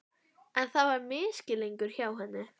En það var misskilningur hjá henni.